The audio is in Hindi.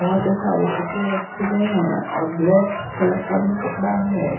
बहुत ही सारे कपड़े रखे गए हैं और ब्लैक कलर का भी कपड़ा है।